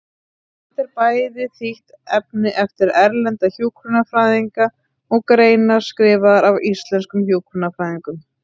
Þetta er bæði þýtt efni eftir erlenda hjúkrunarfræðinga og greinar skrifaðar af íslenskum hjúkrunarfræðingum.